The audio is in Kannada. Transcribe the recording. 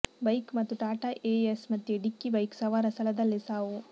ಬೈಕ್ ಮತ್ತು ಟಾಟಾ ಎಎಸ್ ಮದ್ಯೆ ಡಿಕ್ಕಿ ಬೈಕ್ ಸವಾರ ಸ್ಥಳದಲ್ಲೇ ಸಾವು